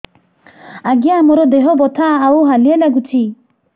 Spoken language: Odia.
ଆଜ୍ଞା ମୋର ଦେହ ବଥା ଆଉ ହାଲିଆ ଲାଗୁଚି